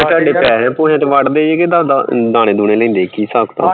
ਤਾਡੇ ਪੈਹੇ ਪੁਹੀਆਂ ਚ ਵੱਢਦੇ ਏ ਦਾਣੇ ਦੁਨੇ ਲੈਂਦੇ ਏ